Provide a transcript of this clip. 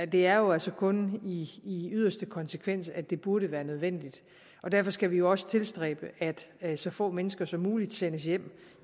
det er jo altså kun i yderste konsekvens at det burde være nødvendigt og derfor skal vi også tilstræbe at så få mennesker som muligt sendes hjem